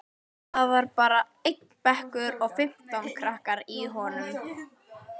Það var bara einn bekkur og fimmtán krakkar í honum.